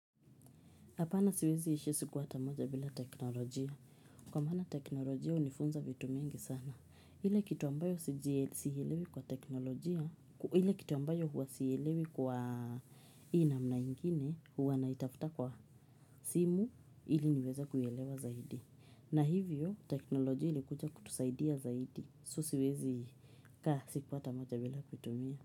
Hapana siwezi ishi siku ata moja bila teknolojia. Kwa maana teknolojia hunifunza vitu mingi sana. Ile kitu ambayo huwa siielewi kwa teknolojia, ile kitu ambayo huwa siielewi kwa hii namna ingine, huwa naitafuta kwa simu ili niweze kuielewa zaidi. Na hivyo, teknolojia ilikuja kutusaidia zaidi. So siwezi kaa siku hata moja bila kuitumia.